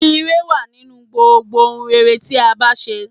Ìre wà nínú gbogbo ohun rere tí a bá n ṣe